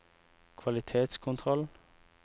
kvalitetskontroll